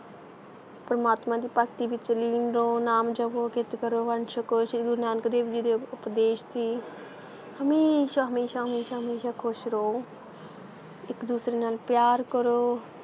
ਪ੍ਰਮਾਤਮਾ ਦੀ ਭਗਤੀ ਵਿਚ ਲੀਨ ਰਹੋ, ਨਾਮ ਜਪੋ, ਕਿਰਤ ਕਰੋ, ਵੰਡ ਛਕੋ, ਸ਼੍ਰੀ ਗੁਰੂ ਨਾਨਕ ਦੇਵ ਜੀ ਦੇ ਉਪਦੇਸ਼ ਸੀ ਹਮੇਸ਼ਾ ਹਮੇਸ਼ਾ ਹਮੇਸ਼ਾ ਹਮੇਸ਼ਾ ਖੁਸ਼ ਰਹੋ ਇਕ ਦੂਸਰੇ ਨਾਲ ਪਿਆਰ ਕਰੋ,